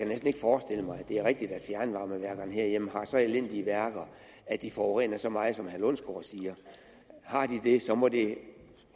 det er rigtigt at fjernvarmeværkerne herhjemme har så elendige værker at de forurener så meget som herre lundsgaard siger har de det så må det